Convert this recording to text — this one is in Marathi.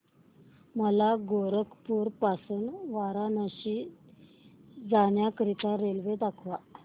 मला गोरखपुर पासून वाराणसी जाण्या करीता रेल्वे दाखवा